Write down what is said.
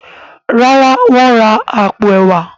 ràrá wón rà apo ẹwà.